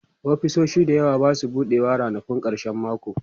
ofisoshi da yawa Basu buɗewa ranakun karshen mako